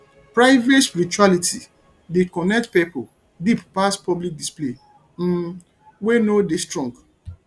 private spirituality dey connect pipo deep pass public display um wey no dey strong